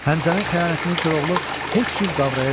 Həmzənin xəyanətini Koroğlu heç cür qavraya bilmir.